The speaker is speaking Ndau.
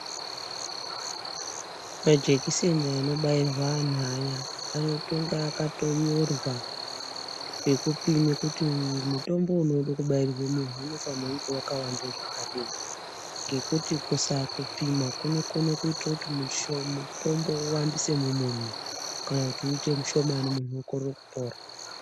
Majekiseni anobairwa anhu aya, anotonga akatonyorwa, pekupime kuti mutombo unode kubairwa munhu, unofane kunge waka wanda zvakadini? Ngekuti kusaakupima kunokona kuita kuti mutombo uwandise mumunhu, kana kuti uite mushomani munhu okorera kupora.